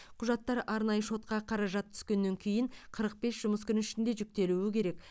құжаттар арнайы шотқа қаражат түскеннен кейін қырық бес жұмыс күні ішінде жүктелуі керек